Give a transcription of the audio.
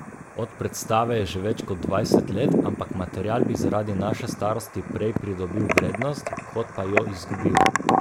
Od predstave je že več kot dvajset let, ampak material bi zaradi naše starosti prej pridobil vrednost, kot pa jo izgubil.